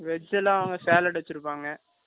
Veg எல்லாம், அவங்க, salad வச்சிருப்பாங்க